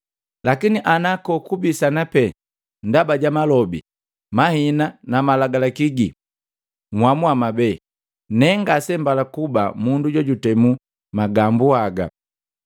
Lakini ana kokubisana pe ndaba ja malobi, mahina na Malagalaki gii, nhamua mwabee. Ne ngase mbala kuba mundu jukutemu magambu haga!”